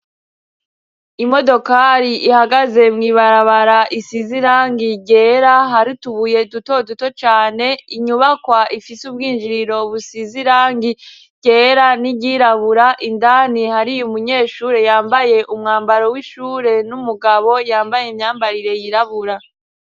Imodokari ihagaze mu ibarabara, isize irangi ryera, hari utubuye duto duto cane, inyubakwa ifise ubwinjiriro busize irangi ryera n'iryirabura, indani hari umunyeshure yambaye umwambaro w'ishure n'umugabo yambaye imyambaro yirabura.